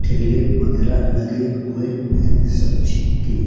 ठेले वगैरा लगे हुए हैं सब्जी के--